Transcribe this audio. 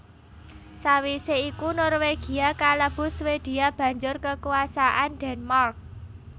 Sawisé iku Norwegia kalebu Swedia banjur kekuasaan Denmark